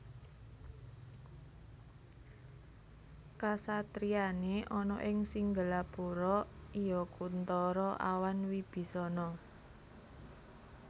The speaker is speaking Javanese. Kasatriyané ana ing Singgelapura iya Kunthara awan Wibisana